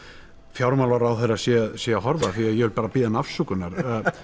fjármálaráðherra sé að sé að horfa því ég vil bara biðja hann afsökunar